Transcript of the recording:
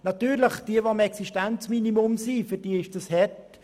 Sicher ist das für Personen, die sich am Existenzminimum befinden, hart.